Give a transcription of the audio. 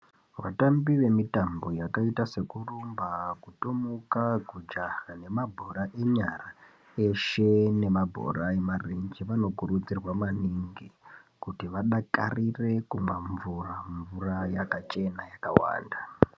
Vatambi ve mitambo yakaita seku rumba kutomuka ku jaha ne mabhora enyara eshe nema bhora e marenje vano kurudzirwa maningi kuti vadakarire kumwa mvura mvura yakachena yakawanda.